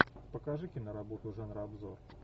покажи киноработу жанра обзор